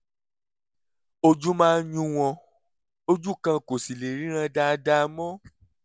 ojú máa ń yún wọn ojú kan kò sì lè ríran dáadáa mọ́